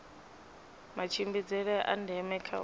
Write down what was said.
matshimbidzele a ndeme kha u